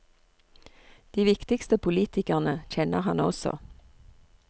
De viktigste politikerne kjenner han også.